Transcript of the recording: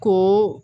Ko